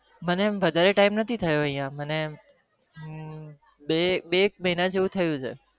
મને વધારે time નથી થયો બે એક મહિના જેવું થયું છે